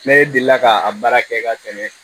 Ne deli la ka a baara kɛ ka tɛmɛ